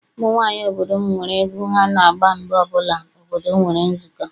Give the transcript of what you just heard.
Ụmụ nwaanyị obodo m nwere egwu ha na-agba mgbe ọbụla obodo nwere nzukọ.